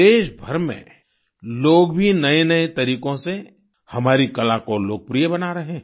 देशभर में लोग भी नएनए तरीकों से हमारी कला को लोकप्रिय बना रहे हैं